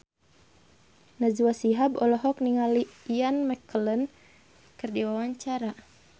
Najwa Shihab olohok ningali Ian McKellen keur diwawancara